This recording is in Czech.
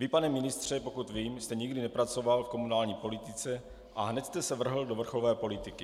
Vy, pane ministře, pokud vím, jste nikdy nepracoval v komunální politice a hned jste se vrhl do vrcholové politiky.